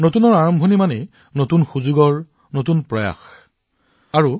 নতুন আৰম্ভণিৰ অৰ্থ হৈছে নতুন সম্ভাৱনা নতুন প্ৰচেষ্টা